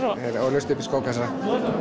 þeir alast upp við skókassa